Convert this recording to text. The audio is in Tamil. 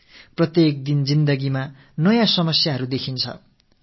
நமது அன்றாட வாழ்வினில் நம் கண்களுக்கு சிக்கல்கள் புலப்படுகின்றன